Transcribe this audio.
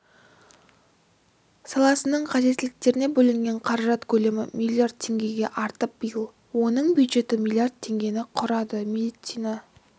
саласының қажеттіліктеріне бөлінген қаражат көлемі миллиард теңгеге артып биыл оның бюджеті миллиард теңгені құрады медицина